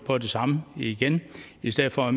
på det samme igen i stedet for at